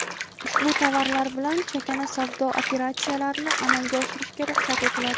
ushbu tovarlar bilan chakana savdo operatsiyalarini amalga oshirishga ruxsat etiladi;.